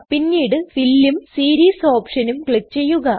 പിന്നീട് ഫിൽ ഉം സീരീസ് ഓപ്ഷനും ക്ലിക് ചെയ്യുക